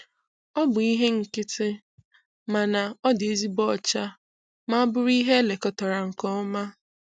Ọ bụ ihe nkịtị, mana ọ dị ezigbo ọcha ma bụrụ ihe elekọtara nke ọma.